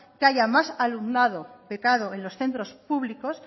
que haya más alumnado becado en los centros públicos